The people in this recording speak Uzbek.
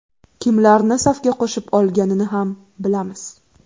Kimlarni safga qo‘shib olganini ham bilamiz.